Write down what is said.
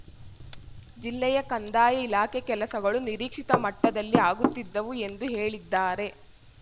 ಜಿಲ್ಲೆಯ ಕಂದಾಯ ಇಲಾಖೆ ಕೆಲಸಗಳು ನಿರೀಕ್ಷಿತ ಮಟ್ಟದಲ್ಲಿ ಆಗುತ್ತಿದ್ದವು ಎಂದು ಹೇಳಿದ್ದಾರೆ